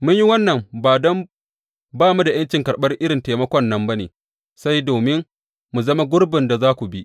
Mun yi wannan, ba don ba mu da ’yancin karɓar irin taimakon nan ba ne, sai dai domin mu zama gurbin da za ku bi.